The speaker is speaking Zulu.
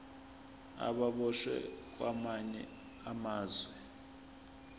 ababoshwe kwamanye amazwe